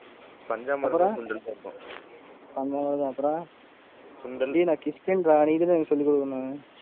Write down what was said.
டேய், நான் கிறிஸ்டின் டா நீ தான்டா எனக்கு சொல்லி கொடுக்கனும்.